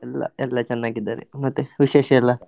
ಎಲ್ಲ ಎಲ್ಲ ಚನ್ನಾಗಿದ್ದಾರೆ ಮತ್ತೆ ವಿಶೇಷ ಎಲ್ಲ?